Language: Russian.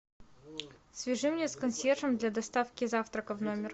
свяжи меня с консьержем для доставки завтрака в номер